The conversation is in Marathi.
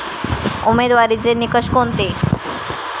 उमेदवारीचे निकष कोणते?